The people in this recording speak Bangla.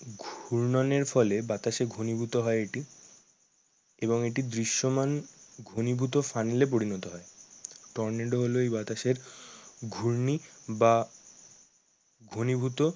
ঘূর্ণয়নের ফলে বাতাসে ঘনীভূত হয় এটি এবং এটি দৃশ্যমান ঘনীভূত ফানেল এ পরিণত হয়। টর্নেডো হলো এই বাতাসের ঘূর্ণি বা ঘনীভূত